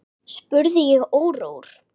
spurði ég órór.